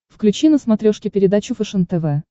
включи на смотрешке передачу фэшен тв